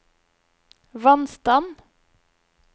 vannstand